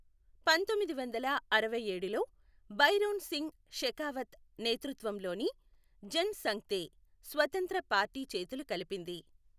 పంతొమ్మిది వందల అరవైఏడులో భైరోన్ సింగ్ షెకావత్ నేతృత్వంలోని జన్ సంఘ్తో స్వతంత్ర పార్టీ చేతులు కలిపింది.